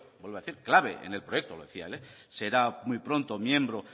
vuelvo a decir clave en el proyecto lo decía él será muy pronto miembro